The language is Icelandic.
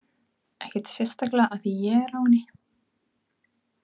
Ekkert sérstaklega af því að ég er á henni.